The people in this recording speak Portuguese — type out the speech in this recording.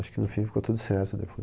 Acho que, no fim, ficou tudo certo depois.